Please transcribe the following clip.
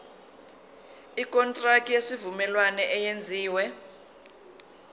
ikontraki yesivumelwano eyenziwe